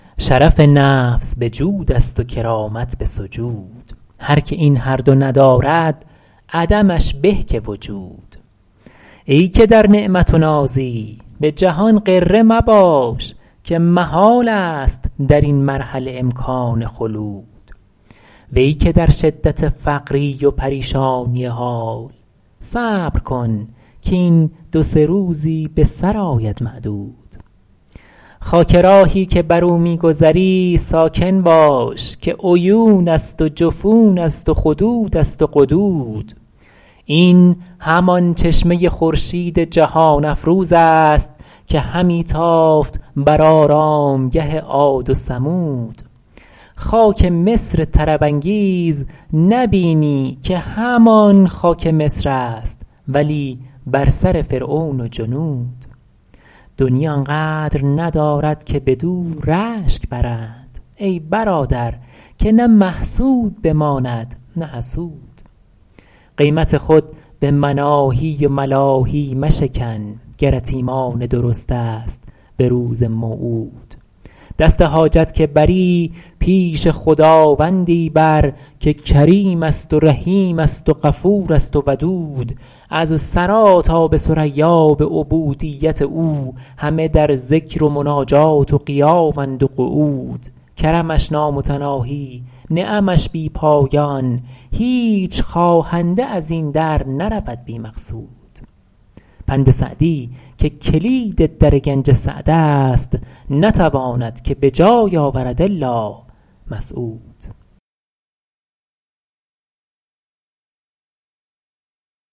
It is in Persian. شرف نفس به جود است و کرامت به سجود هر که این هر دو ندارد عدمش به که وجود ای که در نعمت و نازی به جهان غره مباش که محال است در این مرحله امکان خلود وی که در شدت فقری و پریشانی حال صبر کن کاین دو سه روزی به سر آید معدود خاک راهی که بر او می گذری ساکن باش که عیون است و جفون است و خدود است و قدود این همان چشمه خورشید جهان افروز است که همی تافت بر آرامگه عاد و ثمود خاک مصر طرب انگیز نبینی که همان خاک مصر است ولی بر سر فرعون و جنود دنیی آن قدر ندارد که بدو رشک برند ای برادر که نه محسود بماند نه حسود قیمت خود به مناهی و ملاهی مشکن گرت ایمان درست است به روز موعود دست حاجت که بری پیش خداوندی بر که کریم است و رحیم است و غفور است و ودود از ثری تا به ثریا به عبودیت او همه در ذکر و مناجات و قیامند و قعود کرمش نامتناهی نعمش بی پایان هیچ خواهنده از این در نرود بی مقصود پند سعدی که کلید در گنج سعد است نتواند که به جای آورد الا مسعود